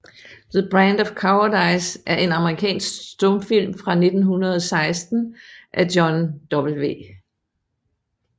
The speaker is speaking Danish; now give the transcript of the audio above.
The Brand of Cowardice er en amerikansk stumfilm fra 1916 af John W